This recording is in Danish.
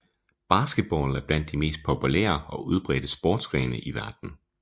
Basketball er blandt de mest populære og udbredte sportsgrene i verden